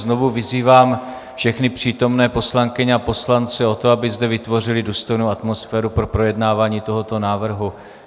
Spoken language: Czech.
Znovu vyzývám všechny přítomné poslankyně a poslance k tomu, aby zde vytvořili důstojnou atmosféru pro projednávání tohoto návrhu.